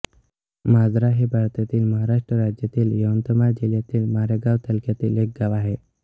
माजारा हे भारतातील महाराष्ट्र राज्यातील यवतमाळ जिल्ह्यातील मारेगांव तालुक्यातील एक गाव आहे